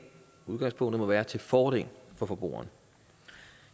må udgangspunktet være til fordel for forbrugerne